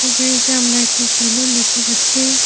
ছবিটিতে আমরা একটি সেলুন দেখতে পাচ্ছি।